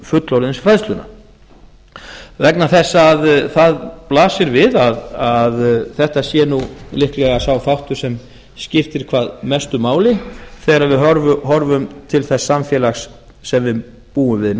fullorðinsfræðsluna vegna þess að það blasir við að þetta sé nú líklega sá þáttur sem skiptir hvað mestu máli þegar við horfum til þess samfélags sem við búum við